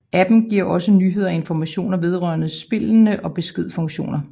Appen giver også nyheder og information vedrørende spillene og beskedfunktioner